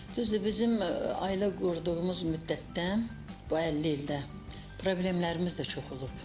Düzdür, bizim ailə qurduğumuz müddətdən, bu 50 ildə, problemlərimiz də çox olub.